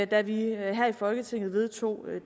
da vi her i folketinget vedtog